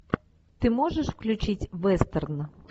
ты можешь включить вестерн